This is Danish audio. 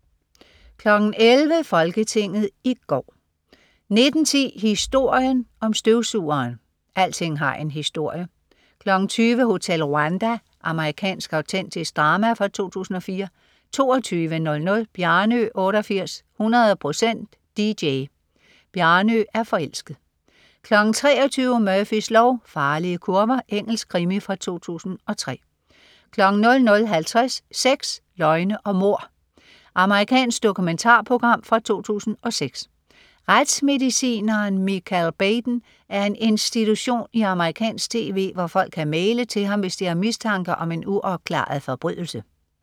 11.00 Folketinget i går 19.10 Historien om støvsugeren. Alting har en historie! 20.00 Hotel Rwanda. Amerikansk autentisk drama fra 2004 22.00 Bjarnø 88, 100% DJ. "Bjarnø Er Forelsket." 23.00 Murphys lov: Farlige kurver. Engelsk krimi fra 2003 00.50 Sex, løgn og mord. Amerikansk dokumentarprogram fra 2006. Retsmedicineren Michael Baden er en institution i amerikansk tv, hvor folk kan maile til ham, hvis de har mistanke om en uopklaret forbrydelse